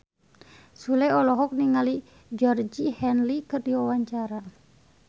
Sule olohok ningali Georgie Henley keur diwawancara